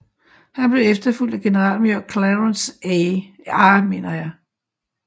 Han blev efterfulgt af generalmajor Clarence R